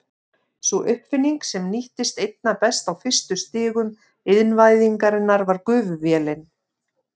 Sú uppfinning sem nýttist einna best á fyrstu stigum iðnvæðingar var gufuvélin.